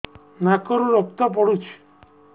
ନାକରୁ ରକ୍ତ ପଡୁଛି